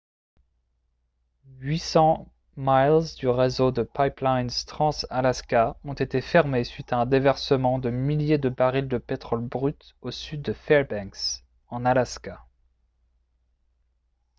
800 miles du réseau de pipelines trans-alaska ont été fermés suite à un déversement de milliers de barils de pétrole brut au sud de fairbanks en alaska